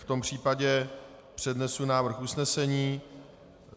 V tom případě přednesu návrh usnesení.